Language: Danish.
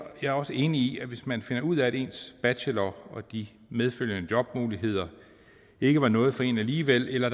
er også enig i at hvis man finder ud af at ens bachelor og de medfølgende jobmuligheder ikke var noget for en alligevel eller at